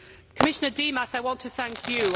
Commissioner Dimas, I want to thank you.